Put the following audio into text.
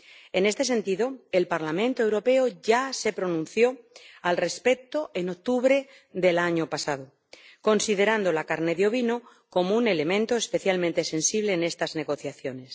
En este sentido, el Parlamento Europeo ya se pronunció al respecto en octubre del año pasado, considerando la carne de ovino como un elemento especialmente sensible en estas negociaciones.